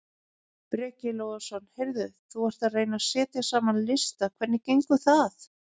Breki Logason: Heyrðu þú ert að reyna að setja saman lista hvernig hvernig gengur?